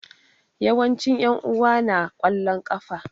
Yawancin yan'uwa na na kwallon kafa.